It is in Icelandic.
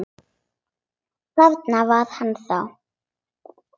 Þarna var hann þá!